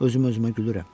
Özüm özümə gülürəm.